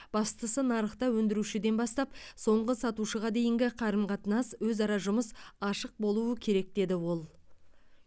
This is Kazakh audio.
бастысы нарықта өндірушіден бастап соңғы сатушыға дейінгі қарым қатынас өзара жұмыс ашық болуы керек деді ол